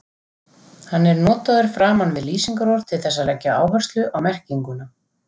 Hann er notaður framan við lýsingarorð til þess að leggja áherslu á merkinguna.